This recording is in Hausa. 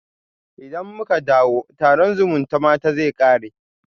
Idan muka dawo, taron zumutamata zai kare